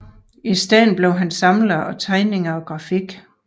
I stedet blev han samler af tegninger og grafik